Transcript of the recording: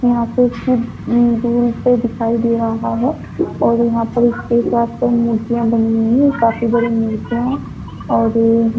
यहाँ से इसकी दूर से दिखाई दे रहा है और यहाँ पर इसके साथ मूर्तियां बनी हुई है काफी बड़ी मूर्तियां है और वो --